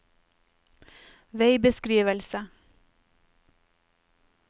veibeskrivelse